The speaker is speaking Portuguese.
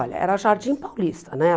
Olha, era Jardim Paulista, né?